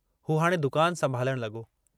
हू हाणे दुकान संभालण लगो।